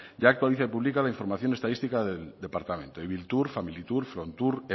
ya actualiza y publica la información estadística del departamento ibiltur familitur frontur